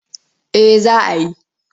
Eh za a yi.